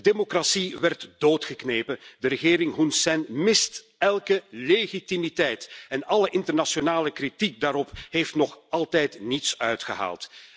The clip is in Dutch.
De democratie is doodgeknepen. De regering Hun Sen mist elke legitimiteit en alle internationale kritiek daarop heeft nog altijd niets uitgehaald.